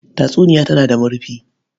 Tatsuniya tana da marufi.